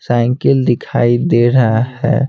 Cycle दिखाई दे रहा है।